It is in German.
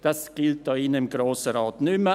Das gilt hier drin im Grossen Rat nicht mehr.